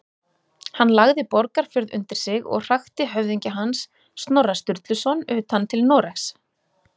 Hann lagði Borgarfjörð undir sig og hrakti höfðingja hans, Snorra Sturluson, utan til Noregs.